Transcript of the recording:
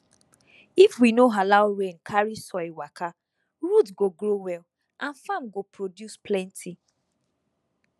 if we no allow rain carry soil waka root go grow well and farm go produce plenty